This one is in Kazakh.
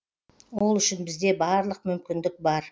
ол үшін бізде барлық мүмкіндік бар